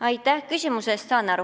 Aitäh küsimuse eest!